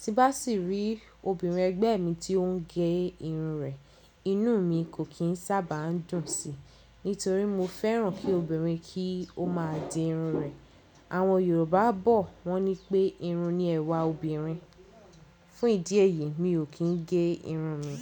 Tí bá sì rí obìnrin ẹgbẹ́ mi tí ó ń gẹ irun rẹ̀, inú mi kò kí ń sábà dùn síi nítorí mo fẹ́ràn kí obìnrin kí ó máa dì irun rẹ̀. Àwọn Yorùbá bọ̀ wọ́n ní pé, irun ni ẹwà obìnrin. Fún ìdí èyí, mi ò kí ń gẹ irun mi.